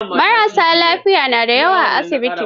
Marassa lafiya na da yawa a asibitin.